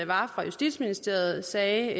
var fra justitsministeriet sagde